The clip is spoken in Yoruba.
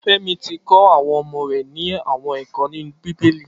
Femi ti kọ awọn ọmọ rè ni awọn ẹkọ inú bibéli